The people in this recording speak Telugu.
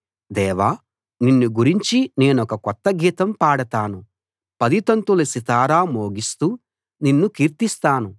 దేవా నిన్ను గురించి నేనొక కొత్త గీతం పాడతాను పదితంతుల సితారా మోగిస్తూ నిన్ను కీర్తిస్తాను